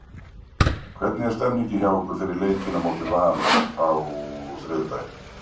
Hvernig er stemmningin hjá ykkur fyrir leikinn á móti Val á þriðjudaginn?